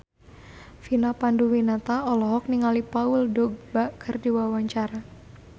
Vina Panduwinata olohok ningali Paul Dogba keur diwawancara